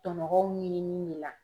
Tɔnɔgɔw ɲinini ne la.